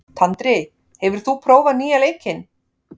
Tandri, hefur þú prófað nýja leikinn?